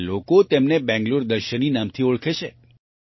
હવે લોકો તેને બેંગ્લોર દર્શિની નામથી ઓળખે છે